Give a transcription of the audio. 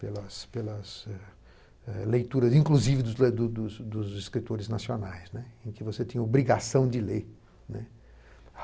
Pelas pelas eh eh leituras, inclusive, dos dos dos dos escritores nacionais, né, em que você tinha obrigação de ler, né.